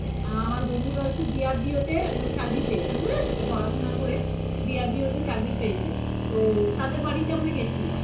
আমার বন্ধুটা হচ্ছে BRDO তে চাকরি পেয়েছে বুঝেছ তো পড়াশোনা করে BRDO তে চাকরি পেয়েছে তাদের বাড়িতে আমরা গেছিলাম